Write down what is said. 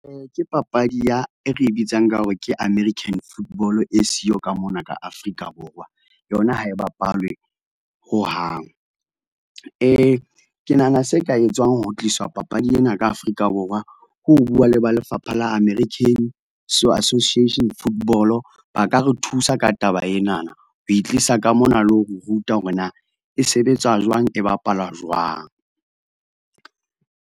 Ke papadi ya e re bitsang ka hore ke American football e siyo ka mona ka Afrika Borwa. Yona ha e bapalwe hohang. Ke nahana se ka etswang ho tliswa papadi ena ka Afrika Borwa, ke ho bua le ba lefapha la American association football-o, ba ka re thusa ka taba enana. Ho e tlisa ka mona le ho re ruta hore na e sebetsa jwang, e bapalwa jwang?